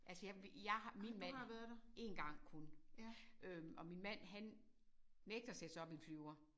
Altså jeg vi jeg har min mand 1 gang kun øh og min mand han nægter at sætte sig op i en flyver